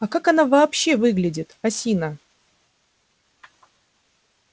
а как она вообще выглядит осина